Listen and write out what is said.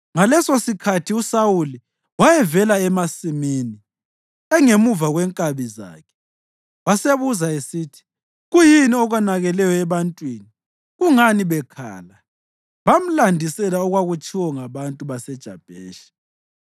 Ngalesosikhathi uSawuli wayevela emasimini, engemuva kwenkabi zakhe, wasebuza esithi, “Kuyini okonakeleyo ebantwini? Kungani bekhala?” Bamlandisela okwakutshiwo ngabantu baseJabheshi.